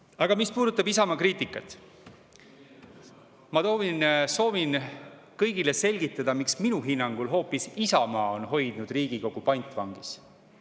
Aga mis puudutab Isamaa kriitikat, siis ma soovin kõigile selgitada, miks minu hinnangul hoopis Isamaa on hoidnud Riigikogu pantvangis.